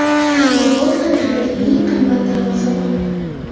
U futbol tarixidagi eng qimmat darvozabon.